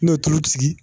N'o ye tulu sigi